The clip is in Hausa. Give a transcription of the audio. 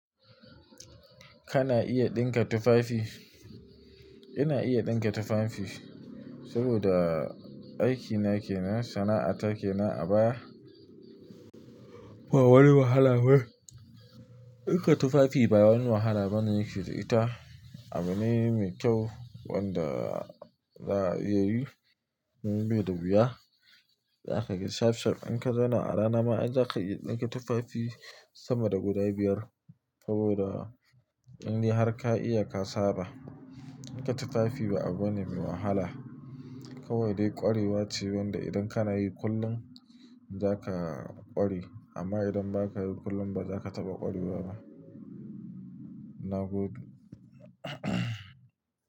Kana iya ɗinka tufafi? Ina iya ɗinka tufafi, saboda aikina ke nan, sana'ata ke nan a baya. Ba wani wahala ba. Ɗinka tufafi ba wani wahala bane yake da ita. Abu ne mai kyau wanda za a iya yi. Mun bai da wuya, za ka ga shaf shaf. In ka zauna a rana ma, an ja ka iya ɗinka tufafi sama da guda biyar. Saboda in har ka iya ka saba, ɗinka tufafi ba abu ne mai wahala. Kawai dai ƙwarewa ce wanda idan kana yi kullum za ka ƙware. Amma idan ba ka yi kullum, ba za ka taɓa ƙwarewa ba. Na gode.